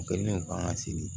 U kɛlen don k'an ka seli